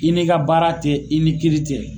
I n'i ka baara tɛ i ni kiiri tɛ.